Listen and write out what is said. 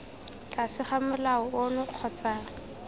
tlase ga molao ono kgotsa